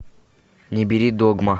не бери догма